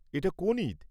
এটা কোন ঈদ?